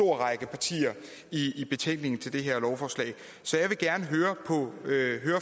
række partier i betænkningen til det her lovforslag så jeg vil gerne høre